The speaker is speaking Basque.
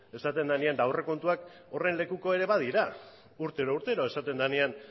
esaten denean aurrekontuak ere horren lekuko ere badira urtero urtero esaten denean